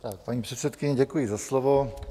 Paní předsedkyně, děkuji za slovo.